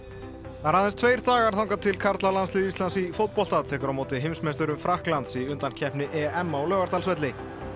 það eru aðeins tveir dagar þangað til karlalandslið Íslands í fótbolta tekur á móti heimsmeisturum Frakklands í undankeppni EM á Laugardalsvelli